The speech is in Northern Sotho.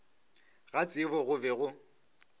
ga tsebo go be go